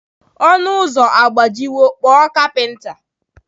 Ọnụ ụzọ agbajiwo, kpọọ kapinta.